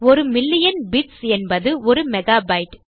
ஒரு million bits என்பது ஒரு மெகாபைட்டு